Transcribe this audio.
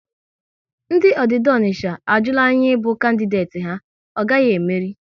Ndị Ọdida Ọnicha a jula ya ịbụ kandideti ha, ọ gaghị e meri!